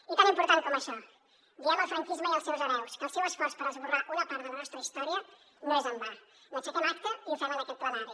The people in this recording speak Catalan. i tan important com això diem al franquisme i als seus hereus que el seu esforç per esborrar una part de la nostra història és en va n’aixequem acta i ho fem en aquest plenari